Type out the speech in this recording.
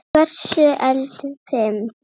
Hversu eldfim?